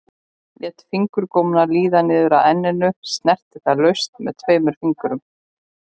Lét fingurgómana líða niður að enninu, snerti það laust með tveimur fingrum.